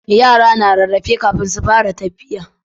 yara na rarrafe kafin su fara tafiya